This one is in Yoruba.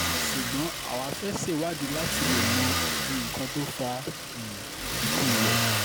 ṣùgbọ́n àwa fẹ́ẹ́ ṣèwádìí láti um lè mọ nǹkan tó fa um ikú rẹ̀